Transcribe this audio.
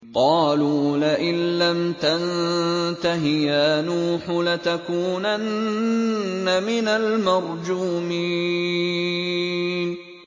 قَالُوا لَئِن لَّمْ تَنتَهِ يَا نُوحُ لَتَكُونَنَّ مِنَ الْمَرْجُومِينَ